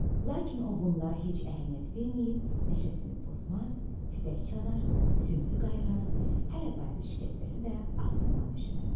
Lakin o bunlara heç əhəmiyyət verməyib, nəşəsini pozmaz, tütək çalar, sümsü qayrar, hələ bayatı şikəstəsi də ağzından düşməzdi.